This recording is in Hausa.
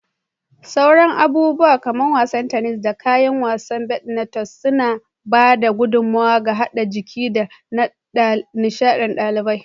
Sauran abubuwa kamar wasan tennis, da kayan wasan badminton suna ba da gudummawa ga haɓakar jiki da na nishaɗin ɗalibai.